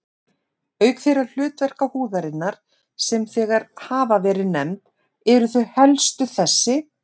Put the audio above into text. Auk þeirra hlutverka húðarinnar, sem þegar hafa verið nefnd, eru þau helstu þessi